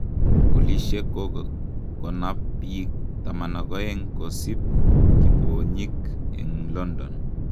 polishek ko konap pik 12,kosip kiponyik en London